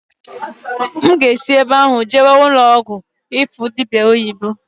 N ga-esị ebe ahụ jewe ụnọ ọgwụ ịfụ dịbịa oyibo.